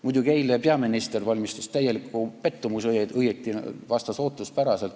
Muidugi, eile peaminister valmistas täieliku pettumuse, kuigi õieti vastas ta ootuspäraselt.